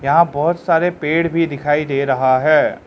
यहां बहोत सारे पेड़ भी दिखाई दे रहा है।